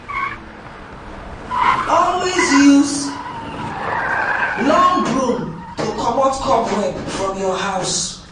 Always use long broom to remove cobweb from your house